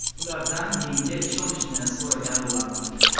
Ulardan menga ishonishni so‘ragan bo‘lardim.